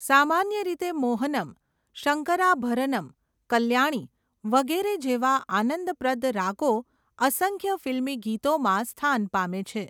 સામાન્ય રીતે મોહનમ, શંકરાભરનમ્, કલ્યાણી વગેરે જેવાં આનંદપ્રદ રાગો અસંખ્ય ફિલ્મી ગીતોમાં સ્થાન પામે છે.